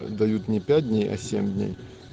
дают не пять дней на семь дней